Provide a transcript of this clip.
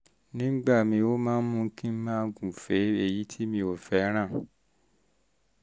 nígbà míì ó máa ń mú kí n máa gúfèé èyí tí mi ò fẹ́ràn